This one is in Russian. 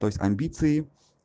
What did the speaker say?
то есть амбиции